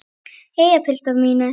Jæja, piltar mínir!